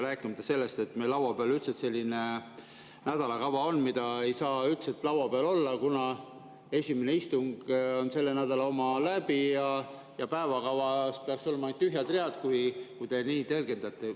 Rääkimata sellest, et meie laua peal on selline nädalakava, mida ei saaks üldse seal olla, kuna esimene istung on sellel nädalal läbi ja päevakavas peaks olema ainult tühjad read, kui te seda nii tõlgendate.